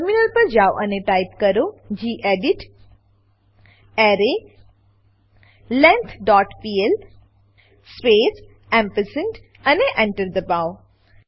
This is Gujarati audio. ટર્મિનલ પર જાવ અને ટાઈપ કરો gedit array length dot P L space ampersand Enter દબાવો